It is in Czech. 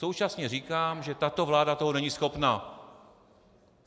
Současně říkám, že tato vláda toho není schopna.